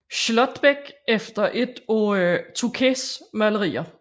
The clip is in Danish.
Schlottbeck efter et af Tocqués malerier